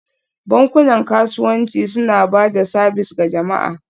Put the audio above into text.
Bankunan kasuwanci suna ba da sabis ga jama'a